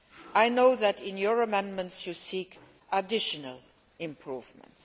I know that, by your amendments, you seek additional improvements.